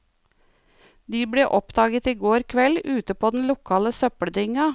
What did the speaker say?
De ble oppdaget i går kveld ute på den lokale søppeldynga.